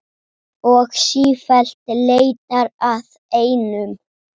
Og sífellt leitar að einum.